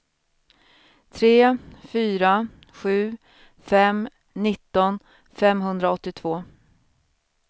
tre fyra sju fem nitton femhundraåttiotvå